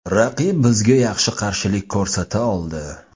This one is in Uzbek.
Raqib bizga yaxshi qarshilik ko‘rsata oldi.